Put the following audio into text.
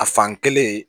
A fan kelen